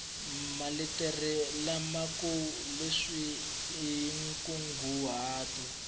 maletere lamakulu leswaku i nkunguhato